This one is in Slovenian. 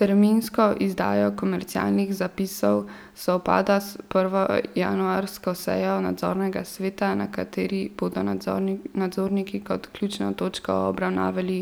Terminsko izdaja komercialnih zapisov sovpada s prvo januarsko sejo nadzornega sveta, na kateri bodo nadzorniki kot ključno točko obravnavali